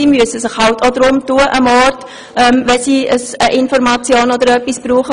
Sie müssen sich auch darum bemühen, wenn sie eine Information oder sonst etwas brauchen.